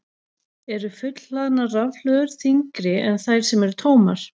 Eru fullhlaðnar rafhlöður þyngri en þær sem eru tómar?